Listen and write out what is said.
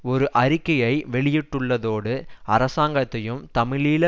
ஒரு அறிக்கையை வெளியிட்டுள்ளதோடு அரசாங்கத்தையும் தமிழீழ